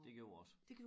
Det gjorde jeg også